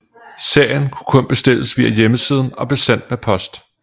Serien kunne kun bestilles via hjemmesiden og blev sendt med post